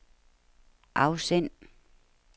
afsend